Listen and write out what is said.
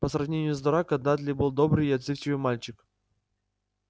по сравнению с драко дадли был добрый и отзывчивый мальчик